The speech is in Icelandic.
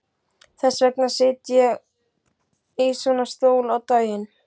Þess vegna sit ég í svona stól á daginn.